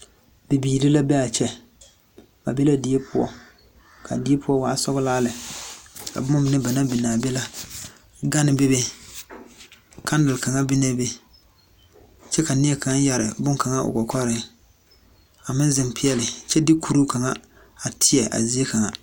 Bibiire la be a kyɛ. Die pʋɔ la ka ba be ka a die pʋɔ e sɔglaa lɛ. Ba biŋ la gane, kaŋdele kyɛ ka neɛ yɛre bone o kɔkɔrepʋɔ a ziŋ peɛle kyɛ de kure zɛge kyaare zie kaŋ.